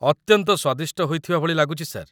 ଅତ୍ୟନ୍ତ ସ୍ୱାଦିଷ୍ଟ ହୋଇଥିବା ଭଳି ଲାଗୁଛି, ସାର୍ ।